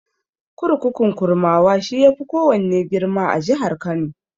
Kurkukun Kurmawa, shi ya fi kowanne girma a jihar Kano.